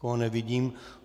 Nikoho nevidím.